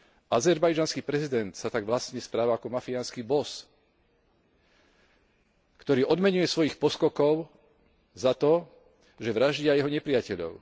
Azerbajdžanský prezident sa tak vlastne správa ako mafiánsky boss, ktorý odmeňuje svojich poskokov za to, že vraždia jeho nepriateľov.